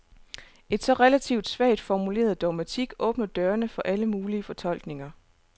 En så relativt svagt formuleret dogmatik åbner dørene for alle mulige fortolkninger.